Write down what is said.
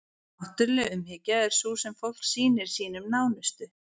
náttúruleg umhyggja er sú sem fólk sýnir sínum nánustu